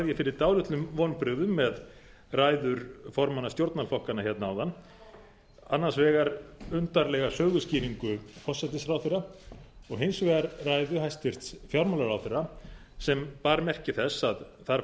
ég fyrir dálitlum vonbrigðum með ræður formanna stjórnarflokkanna hérna áðan annars vegar undarlega söguskýringu forsætisráðherra og hins vegar ræðu hæstvirts fjármálaráðherra sem bar merki þess að þar